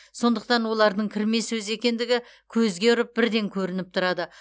сондықтан олардың кірме сөз екендігі көзге ұрып бірден көрініп тұрады